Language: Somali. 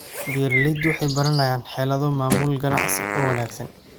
Beeraleydu waxay baranayaan xeelado maamul ganacsi oo wanaagsan.